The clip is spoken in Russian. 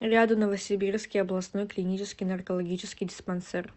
рядом новосибирский областной клинический наркологический диспансер